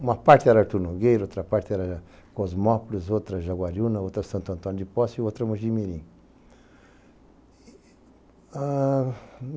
Uma parte era Artur Nogueira, outra parte era Cosmópolis, outra Jaguariúna, outra Santo Antônio de Poça e outra Mogi Mirim.